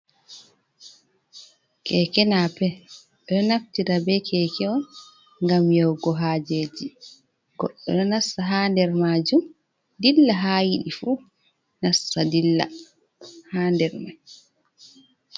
Keeke naape, ɓe ɗo naftira bee keeke on ngam yahugo haajeeji. Gooɗɗo ɗo nasta haa nder maajum dilla haa yiɗi fuu, nasta dila haa nder may.